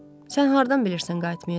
Sən hardan bilirsən qayıtmayacaq?